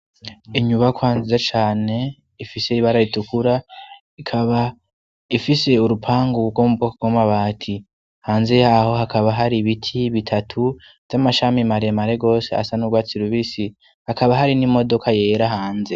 Inyubakwanza cane ifise ibara itukura ikaba ifise urupanga gkomwokkomaba ati hanze yaho hakaba hari ibiti bitatu vy'amashami mare mare gose asa n'ubwatsi rubisi hakaba hari n'imodoka yera hanze.